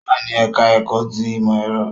Ó wà ní ẹ̀ká ẹ̀kọ́ ti ìmọ̀ ẹ̀rọ